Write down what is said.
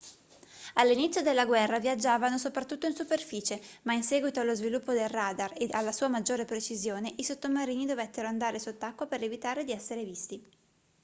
all'inizio della guerra viaggiavano soprattutto in superficie ma in seguito allo sviluppo del radar e alla sua maggiore precisione i sottomarini dovettero andare sott'acqua per evitare di essere visti